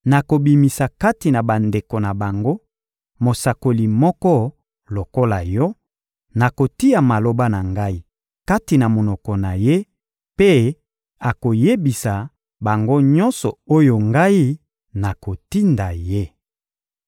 Nakobimisa kati na bandeko na bango mosakoli moko lokola yo; nakotia maloba na Ngai kati na monoko na ye, mpe akoyebisa bango nyonso oyo Ngai nakotinda ye.